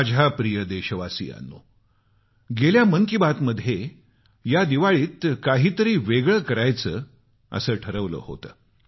माझ्या प्रिय देशवासियांनो गेल्या मन की बातमध्ये या दिवाळीत काही तरी वेगळं करायचं असं ठरवलं होतं